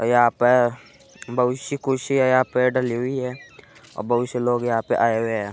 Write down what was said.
और यहाँ पर बहुत सी कुर्सियां यहाँ पे डली हुई हैऔर बहुत से लोग यहाँ पे आये हुए हैं।